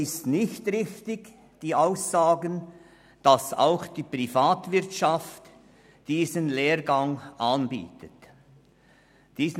Die Aussage, wonach auch die Privatwirtschaft diesen Lehrgang anbietet, ist nicht richtig.